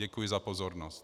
Děkuji za pozornost.